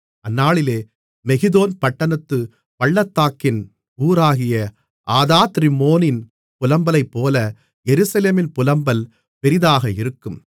அந்நாளிலே மெகிதோன் பட்டணத்துப் பள்ளத்தாக்கின் ஊராகிய ஆதாத்ரிம்மோனின் புலம்பலைப்போல எருசலேமின் புலம்பல் பெரிதாக இருக்கும்